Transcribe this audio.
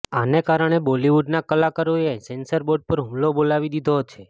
આને કારણે બોલિવૂડના કલાકારોએ સેન્સર બોર્ડ પર હુમલો બોલાવી દીધો છે